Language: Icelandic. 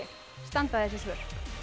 standa þessi svör